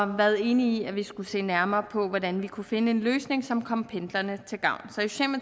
været enige i at vi skulle se nærmere på hvordan vi kunne finde en løsning som kommer pendlerne til gavn